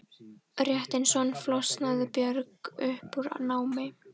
Rétt eins og hann flosnaði Björg upp úr námi.